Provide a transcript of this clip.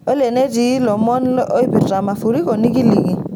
olly enetii lomon oipirta mafuriko nikiliki